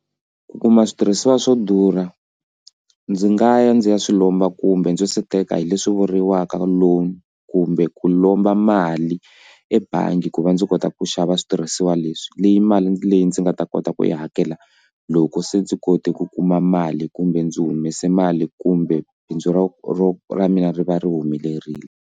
Ku kuma switirhisiwa swo durha ndzi nga ya ndzi ya swi lomba kumbe ndzo se teka hi leswi vuriwaka loan kumbe ku lomba mali ebangi ku va ndzi kota ku xava switirhisiwa leswi leyi mali leyi ndzi nga ta kota ku yi hakela loko se ndzi kote ku kuma mali kumbe ndzi humese mali kumbe bindzu ro ro ra mina ri va ri humelerile.